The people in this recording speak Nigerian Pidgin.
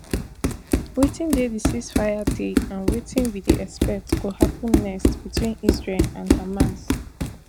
wetin dey di ceasefire deal and wetin we dey expect go happun next between israel and hamas